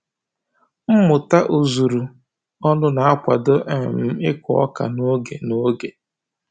Mmụta ozuru ọnụ na-akwado um ịkụ ọka n'oge n'oge